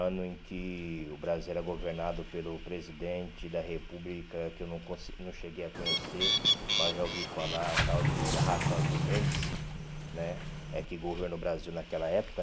Ano em que o Brasil era governado pelo presidente da república que eu não conse não cheguei a conhecer, mas já ouvi falar, tal de, né é que governa o Brasil naquela época.